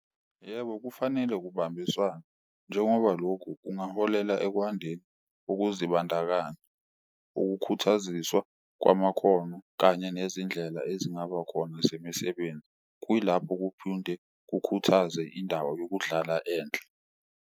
Yebo, kufanele kubambiswane njengoba lokhu kungaholela ekwandeni ukuzibandakanya, ukukhuthaziswa kwamakhono kanye nezindlela ezingaba khona zemisebenzi. Kuyilapho kukhuthaze indawo yokudlala enhle.